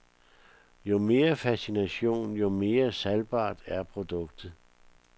Jo mere fascination, jo mere salgbart er produktet.